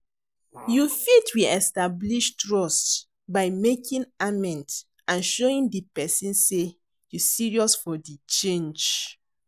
You fit re-establish trust by making amend and showing di pesin say you serious for di change.